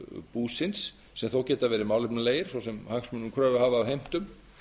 búsins sem þó geta verið málefnalegir svo sem hagsmunum kröfuhafa af heimtum